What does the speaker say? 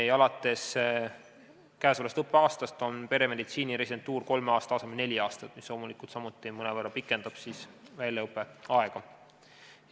Ja alates käesolevast õppeaastast kestab peremeditsiini residentuur kolme aasta asemel neli aastat, mis samuti mõnevõrra pikendab väljaõppe aega.